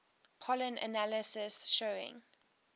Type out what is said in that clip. pollen analysis showing